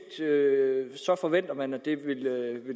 forventer man at det vil